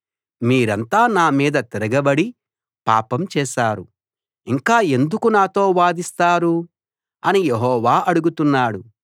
మీరంతా నా మీద తిరగబడి పాపం చేశారు ఇంకా ఎందుకు నాతో వాదిస్తారు అని యెహోవా అడుగుతున్నాడు